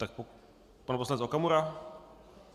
Tak pan poslanec Okamura?